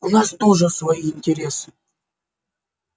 у нас тоже свои интересы